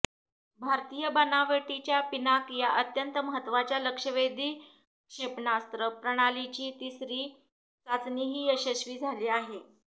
भारतीय बनावटीच्या पिनाक या अत्यंत महत्वाच्या लक्ष्यवेधी क्षेपणास्त्र प्रणालीची तिसरी चाचणीही यशस्वी झाली आहे